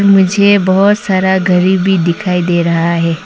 मुझे बहोत सारा घड़ी भी दिखाई दे रहा है।